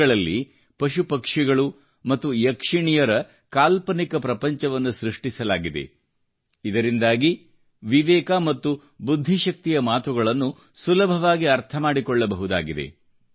ಕತೆಗಳಲ್ಲಿ ಪಶುಪಕ್ಷಿಗಳು ಮತ್ತು ಯಕ್ಷಿಣಿಯರ ಕಾಲ್ಪನಿಕ ಪ್ರಪಂಚವನ್ನು ಸೃಷ್ಟಿಸಲಾಗಿದೆ ಇದರಿಂದಾಗಿ ವಿವೇಕ ಮತ್ತು ಬುದ್ಧಿಶಕ್ತಿಯ ಮಾತುಗಳನ್ನು ಸುಲಭವಾಗಿ ಅರ್ಥಮಾಡಿಕೊಳ್ಳಬಹುದಾಗಿದೆ